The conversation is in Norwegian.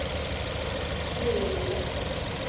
dyrelivet